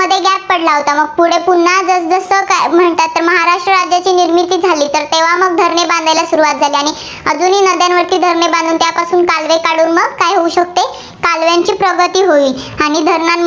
पुढे पुन्हा म्हणतात महाराष्ट्र राज्याची निर्मिती झाली तेव्हा मग धरणे बांधायला सुरुवात झाली आणि अजूनही नद्यांवरती धरणे बांधून त्यापासून कालवे काढून मग काय होऊ शकतं कालव्यांची प्रगती होईल. आणि धरणांना